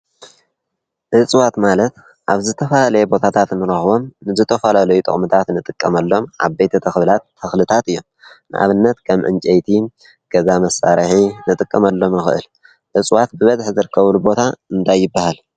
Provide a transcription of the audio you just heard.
እጽዋት ማለት ኣብ ዝተፋላለየ ቦታታት ንረኽቦም ዝተተፈላለዩ ጥቕምታት ንጥቅመሎም ዓበይቲ ተኽልታት እዮም፡፡ ንኣብነት ከም እንጨይቲ ገዛ መሣርሒ ንጥቅመኣሎም ንኽእል፡፡ እጽዋት ብበዝሕ ዝርከቡሉ ቦታ እንታይ ይበሃል?